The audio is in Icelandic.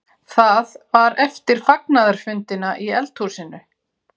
Það var eftir fagnaðarfundina í eldhúsinu.